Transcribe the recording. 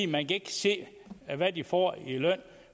man ikke kan se hvad de får i løn